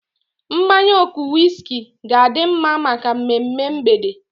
Mmanya ọkụ wiski ga-adi mma maka mmemme mgbede.